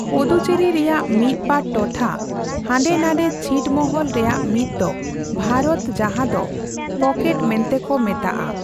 ᱯᱚᱫᱩᱪᱮᱨᱤ ᱨᱮᱭᱟᱜ ᱢᱤᱫᱵᱟᱨ ᱴᱚᱴᱷᱟ ᱦᱟᱸᱰᱮ ᱱᱟᱰᱮ ᱪᱷᱤᱴ ᱢᱚᱦᱚᱞ ᱨᱮᱭᱟᱜ ᱢᱤᱫ ᱫᱚ, ᱵᱷᱟᱨᱚᱛ ᱡᱟᱦᱟᱸ ᱫᱚ ᱯᱚᱠᱮᱴ' ᱢᱮᱱᱛᱮᱠᱚ ᱢᱮᱛᱟᱜᱼᱟ ᱾